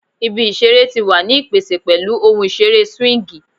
Ibi isere ti wa ni ipese pẹlu ohun isere swingi